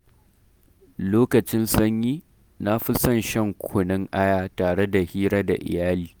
Lokacin sanyi, na fi son shan kunun Aya tare da hira da iyali.